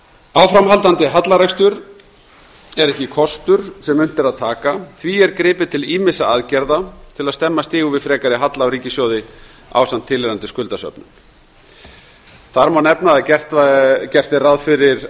áframhaldandi hallarekstur er ekki kostur sem unnt er að taka því er gripið til ýmissa aðgerða til að stemma stigu við frekari halla á ríkissjóði ásamt tilheyrandi skuldasöfnun þar má nefna að gert er ráð fyrir